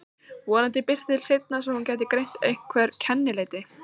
Vonandi birti til seinna svo hún gæti greint einhver kennileiti.